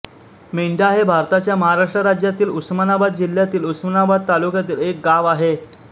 मेंढा हे भारताच्या महाराष्ट्र राज्यातील उस्मानाबाद जिल्ह्यातील उस्मानाबाद तालुक्यातील एक गाव आहे